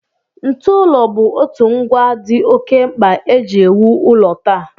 Ntụụlọ bụ otu ngwa dị oké mkpa e ji ewu ụlọ taa